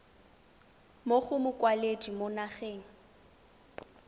mo go mokwaledi mo nageng